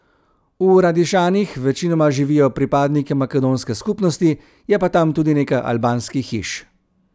V Radišanih večinoma živijo pripadniki makedonske skupnosti, je pa tam tudi nekaj albanskih hiš.